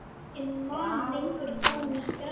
Enginn man lengur hvar hún er grafin.